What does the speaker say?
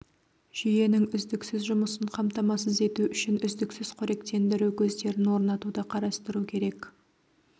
жүйенің үздіксіз жұмысын қамтамасыз ету үшін үздіксіз қоректендіру көздерін орнатуды қарастыру керек